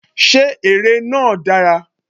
Ṣé ère náà dára?